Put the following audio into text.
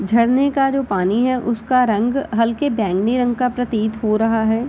झरने का जो पानी है उसका रंग हल्के बैंगनी रंग का प्रतीत हो रहा है।